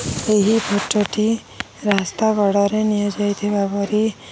ଏହି ଫଟଟି ରାସ୍ତାବର୍ଡରେ ନିଆଯାଇଥିବାର ପରି --